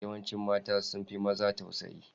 Yawancin mata sun fi maza tausayi.